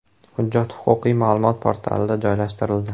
Hujjat Huquqiy ma’lumot portalida joylashtirildi .